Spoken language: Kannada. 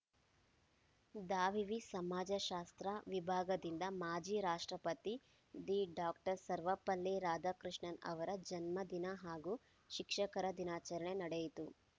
ದಾವಿವಿ ಸಮಾಜಶಾಸ್ತ್ರ ವಿಭಾಗದಿಂದ ಮಾಜಿ ರಾಷ್ಟ್ರಪತಿ ದಿ ಡಾಕ್ಟರ್ ಸರ್ವಪಲ್ಲಿ ರಾಧಾಕೃಷ್ಣನ್‌ರ ಜನ್ಮ ದಿನ ಹಾಗೂ ಶಿಕ್ಷಕರ ದಿನಾಚರಣೆ ನಡೆಯಿತು